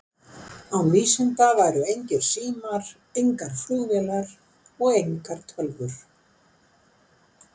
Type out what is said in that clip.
Án vísinda væru engir símar, engar flugvélar og engar tölvur.